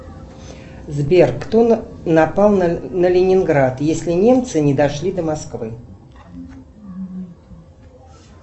сбер кто напал на ленинград если немцы не дошли до москвы